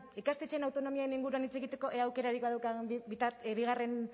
ikastetxeen autonomiaren inguruan hitz egiteko ea aukerarik badaukagun bigarren